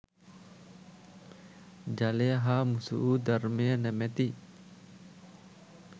ජලය හා මුසු වූ ධර්මය නමැති